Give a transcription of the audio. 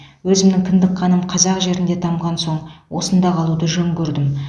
өзімнің кіндік қаным қазақ жерінде тамған соң осында қалуды жөн көрдім